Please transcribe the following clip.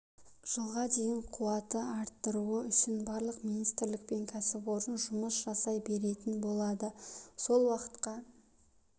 жылға дейін қуатты арттыру үшін барлық министрлік пен кәсіпорын жұмыс жасай беретін болады сол уақытқа